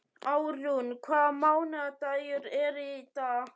Árún, hvaða mánaðardagur er í dag?